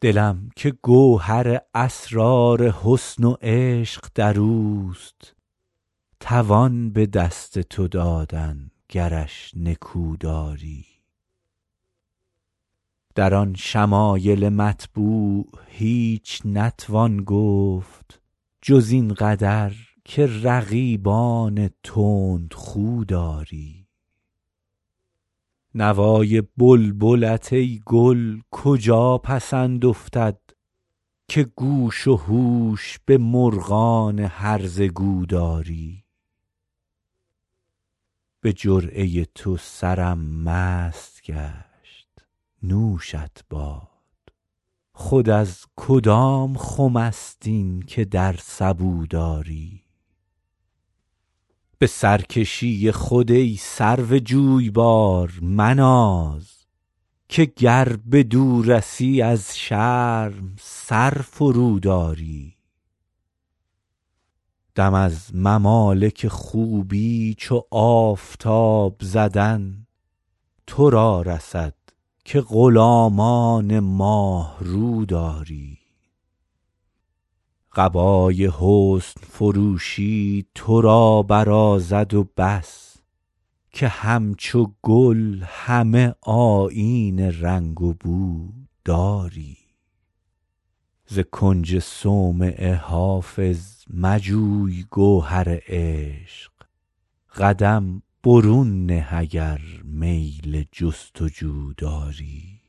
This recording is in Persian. دلم که گوهر اسرار حسن و عشق در اوست توان به دست تو دادن گرش نکو داری در آن شمایل مطبوع هیچ نتوان گفت جز این قدر که رقیبان تندخو داری نوای بلبلت ای گل کجا پسند افتد که گوش و هوش به مرغان هرزه گو داری به جرعه تو سرم مست گشت نوشت باد خود از کدام خم است این که در سبو داری به سرکشی خود ای سرو جویبار مناز که گر بدو رسی از شرم سر فروداری دم از ممالک خوبی چو آفتاب زدن تو را رسد که غلامان ماه رو داری قبای حسن فروشی تو را برازد و بس که همچو گل همه آیین رنگ و بو داری ز کنج صومعه حافظ مجوی گوهر عشق قدم برون نه اگر میل جست و جو داری